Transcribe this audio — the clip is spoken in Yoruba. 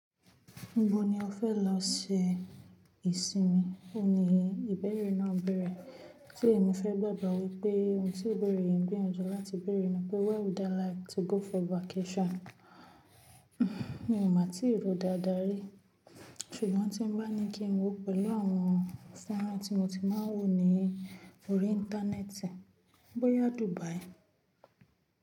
“Ibó ni o fẹ́ lọ ṣe ìsinmi?” Óun ní ìbéèrè náà n bẹ̀rẹ̀, tí èmi fẹ́ gbàgbọ́ wípé ohun tí ibeẹ̀rẹ̀ yi n gbìyanjú láti bèèrè ni pé “Where would I like to go for vacation?” Mi ò ma tí rò dáadáa rí, ṣùgbọ́n tí n bá ní kí n wò pẹ̀lú àwọn fónrán tí mo ti máa ń wò ní orí íńtánẹ́ẹ̀tì, bóyá Dubai.